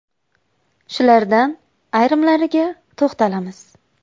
Shulardan ayrimlariga to‘xtalamiz.